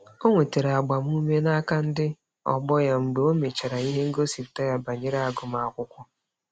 O nwetara agbamume n'aka ndị ọgbọ ya mgbe o mechara ihe ngosipụta ya banyere agụmakwụkwọ.